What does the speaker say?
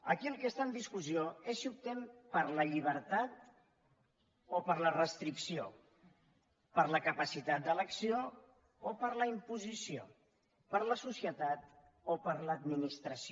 aquí el que està en discussió és si optem per la llibertat o per la restricció per la capacitat d’elecció o per la imposició per la societat o per l’administració